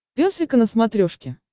пес и ко на смотрешке